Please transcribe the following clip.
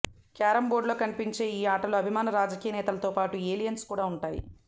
carom బోర్టులా కనిపించే ఈ ఆటలో అభిమాన రాజకీయ నేతలతోపాటు ఏలియన్స్ కూడా ఉంటాయి